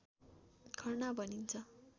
खर्ना भनिन्छ